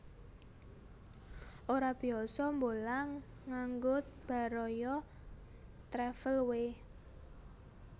Ora biyasa mbolang nganggo Baraya Travel we